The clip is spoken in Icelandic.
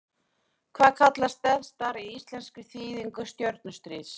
Hvað kallast Death Star í íslenskri þýðingu Stjörnustríðs?